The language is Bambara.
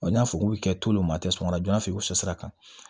n'a fɔ k'u bɛ to olu ma tɛmɛna joona fɛ i bɛ fosakan